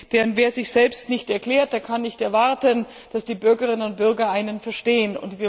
Denn wer sich selbst nicht erklärt, kann nicht erwarten, dass die Bürgerinnen und Bürger einen verstehen.